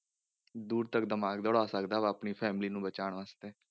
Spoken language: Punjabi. ਦੂਰ ਤੱਕ ਦਿਮਾਗ ਦੌੜਾ ਸਕਦਾ ਵਾ ਆਪਣੀ family ਨੂੰ ਬਚਾਉਣ ਵਾਸਤੇ।